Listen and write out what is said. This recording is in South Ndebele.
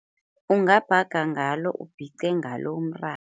Ungabhaga ngalo, ubhice ngalo umratha.